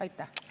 Aitäh!